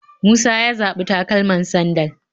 Musa ya zaɓi takalaman sandal